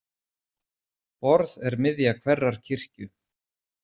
Borð er miðja hverrar kirkju.